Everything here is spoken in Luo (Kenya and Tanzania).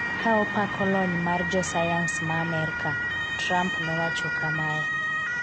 ka opako lony mar josayans ma Amerka, Trump nowacho kamae